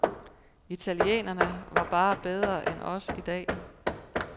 Italienerne var bare bedre end os i dag.